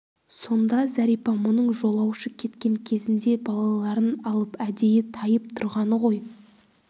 сонда зәрипа мұның жолаушы кеткен кезінде балаларын алып әдейі тайып тұрғаны ғой